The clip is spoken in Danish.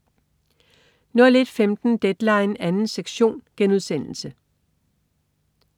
01.15 Deadline 2. sektion*